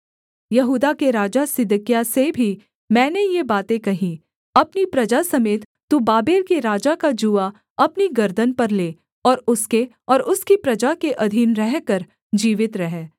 यहूदा के राजा सिदकिय्याह से भी मैंने ये बातें कहीं अपनी प्रजा समेत तू बाबेल के राजा का जूआ अपनी गर्दन पर ले और उसके और उसकी प्रजा के अधीन रहकर जीवित रह